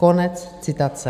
Konec citace.